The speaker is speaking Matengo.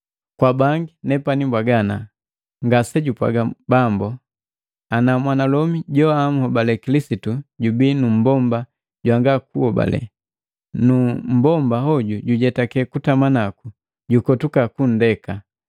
Kwa bangi nepani mbwaga, ngasejupwaga Bambu, ana mwanalomi joahobale Kilisitu jubii nu mmbomba jwanga kuhobale, nu mmbomba hoju jujetake kutama naku, jukotuka kundeka.